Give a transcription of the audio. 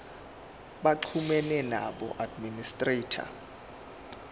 baxhumane noweb administrator